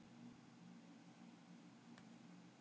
Ég skrölti frekar ein á efri hæðinni í þessu tvílyfta húsi.